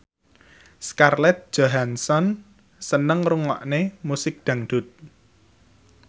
Scarlett Johansson seneng ngrungokne musik dangdut